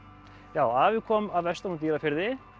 já afi kom að vestan úr Dýrafirði